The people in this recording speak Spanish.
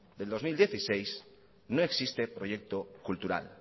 del dos mil dieciséis no existe proyecto cultural